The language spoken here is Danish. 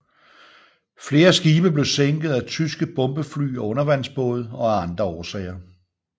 Flere skibe blev sænket af tyske bombefly og undervandsbåde og af andre årsager